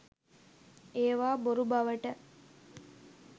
ඒවා බොරු බවට